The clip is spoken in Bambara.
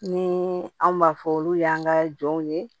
Ni anw b'a fɔ olu y'an ka jɔnw ye